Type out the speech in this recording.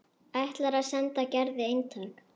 Ætlar að senda Gerði eintak.